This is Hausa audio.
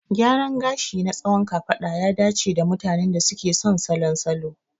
Gyaran gashi na tsawon kafada ya dace da mutanen da suke son salon salo.